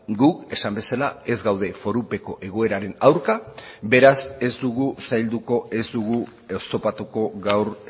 gu esan bezala ez gaude forupeko egoeraren aurka beraz ez dugu zailduko ez dugu oztopatuko gaur